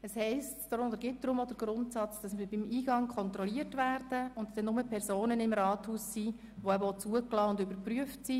Es gilt daher auch der Grundsatz, dass wir beim Eingang kontrolliert werden, und deshalb nur Personen im Rathaus sind, die zugelassen und überprüft sind.